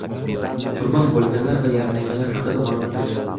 Qurbon bo‘lganlar va yaralanganlar haqida ma’lumot yo‘q.